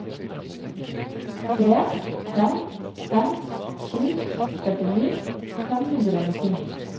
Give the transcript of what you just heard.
tre fem fem sju førtini fem hundre og nittini